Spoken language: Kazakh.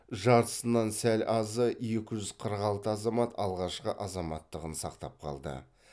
жартысынан сәл азы екі жүз қырық алты азамат алғашқы азаматтығын сақтап қалды